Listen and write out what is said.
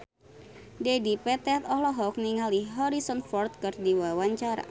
Dedi Petet olohok ningali Harrison Ford keur diwawancara